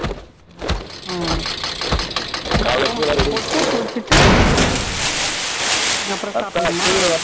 உம் போட்டுட்டு குளிச்சிட்டு அப்புறம் சாப்பிடனுமா